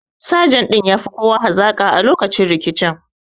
Sajan ɗin ya fi kowa hazaƙa a lokacin rikicin